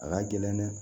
A ka gɛlɛn dɛ